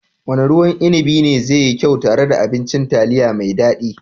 Wanne ruwan inibi ne zai yi kyau tare da abincin taliya mai daɗi?